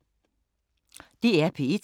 DR P1